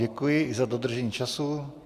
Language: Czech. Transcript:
Děkuji i za dodržení času.